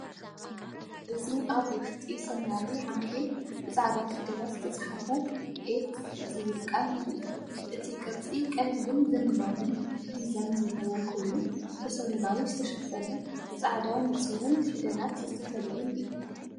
እዚ ኣብ ውሽጢ ሰማያዊ ዓንኬል ብጻዕዳ ፊደላት ዝተጻሕፈ “ኤፕፍ” ዝብል ቃል የርኢ። እቲ ቅርጺ ቀሊልን ዘመናውን ዲዛይን ዘለዎ ኮይኑ፡ ብሰማያዊ ዝተሸፈነን ብጻዕዳ ንጹርን ፊደላት ዝተፈልየን እዩ።